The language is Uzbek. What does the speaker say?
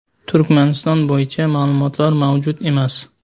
Turkmaniston bo‘yicha ma’lumotlar mavjud emas.